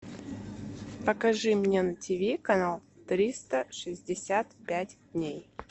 покажи мне на тиви канал триста шестьдесят пять дней